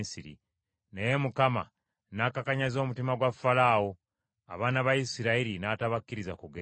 Naye Mukama n’akakanyaza omutima gwa Falaawo, abaana ba Isirayiri n’atabakkiriza kugenda.